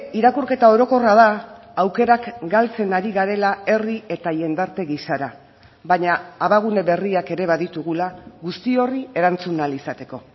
irakurketa orokorra da aukerak galtzen ari garela herri eta jendarte gisara baina abagune berriak ere baditugula guzti horri erantzun ahal izateko